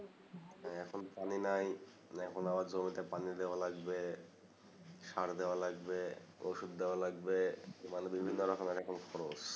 এখন পানি নাই মানে এখন বার জমি তে পানি দেয়া লাগবে সার দেওয়া লাগবে ওষুধ দেওয়া লাগবে মানে বিভিন্ন রকমএর এখন খরচ